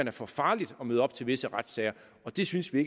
er for farligt at møde op til visse retssager og det synes vi